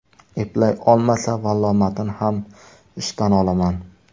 Eplay olmasa, vallomatini ham ishdan olaman.